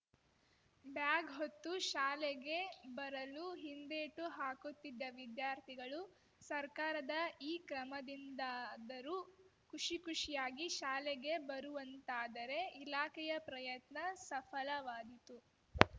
bag ಹೊತ್ತು ಶಾಲೆಗೆ ಬರಲು ಹಿಂದೇಟು ಹಾಕುತ್ತಿದ್ದ ವಿದ್ಯಾರ್ಥಿಗಳು ಸರ್ಕಾರದ ಈ ಕ್ರಮದಿಂದಾದರೂ ಖುಷಿ ಖುಷಿಯಾಗಿ ಶಾಲೆಗೆ ಬರುವಂತಾದರೆ ಇಲಾಖೆಯ ಪ್ರಯತ್ನ ಸಫಲವಾದೀತು